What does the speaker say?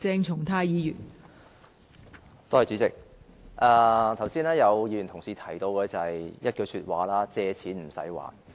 代理主席，剛才有議員提到一句說話：借錢不用還。